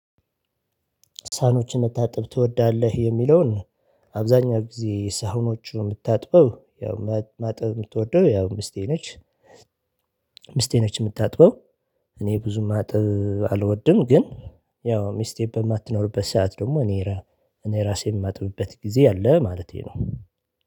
ሳኖችን እንድታጥብ ትወዳለህ? የሚለውን አብዛኛው ጊዜ ሳኖቹን የምታጥበው ያው ማጠብ የምትወደው ያው ምስቴ ነች ምስቴ ነች የምታጥበው እኔ ብዙ ማጠብ አልወድም ግን ያው ሚስቴ በማትኖርበት ሰዓት ደግሞ እኔ እኔ ራሴ የማጥብበት ጊዜ አለ ማለቴ ነው